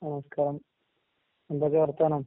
നമസ്കാരം. എന്തൊക്കേ വർത്താനം?